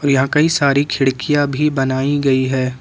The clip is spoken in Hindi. यहां कई सारी खिड़कियां भी बनाई गई है।